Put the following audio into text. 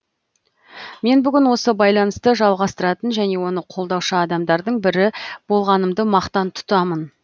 мен бүгін осы байланысты жалғастыратын және оны қолдаушы адамдардың бірі болғанымды мақтан тұтамын